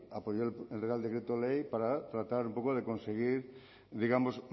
apoyo el real decreto ley para tratar un poco de conseguir digamos